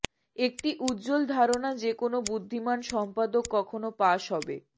একটি উজ্জ্বল ধারণা যে কোন বুদ্ধিমান সম্পাদক কখনও পাস হবে